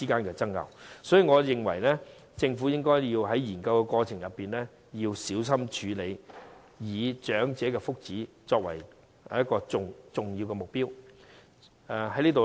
因此，我認為政府在研究的過程中要小心處理，以長者的福祉作為重要目標。